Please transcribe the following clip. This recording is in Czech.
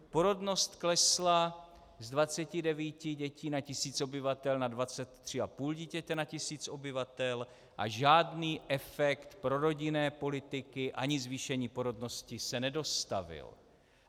Porodnost klesla z 29 dětí na tisíc obyvatel na 23,5 dítěte na tisíc obyvatel a žádný efekt prorodinné politiky ani zvýšení porodnosti se nedostavil.